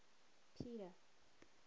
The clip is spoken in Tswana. peter